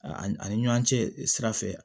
A ani ani ɲɔ cɛ sira fɛ